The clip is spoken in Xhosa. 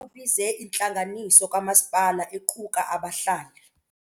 Ubize intlanganiso kamasipala equka abahlali.